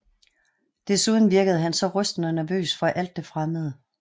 Desuden virkede han så rystende nervøs for alt det fremmede